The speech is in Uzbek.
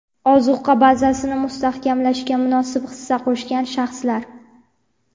ozuqa bazasini mustahkamlashga munosib hissa qo‘shgan shaxslar.